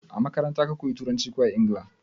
A makaranta ka koya Turanci ko a Ingila?